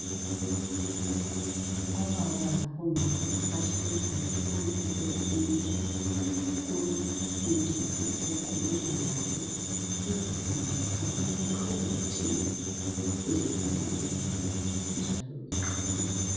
Obaba labomama bahlezi ngaphansi kwetent. Kulomfundisi okhuluma labo. Uyabafundisa ngolutho oluthile. Kufuze lunanzelelwe njalo beqaphele.